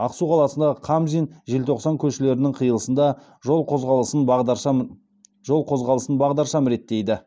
ақсу қаласындағы қамзин желтоқсан көшелерінің қиылысында жол қозғалысын бағдаршам жол қозғалысын бағдаршам реттейді